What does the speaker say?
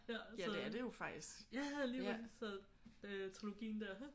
Så ja lige præcis så øh trilogien der